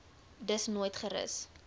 dus nooit gerus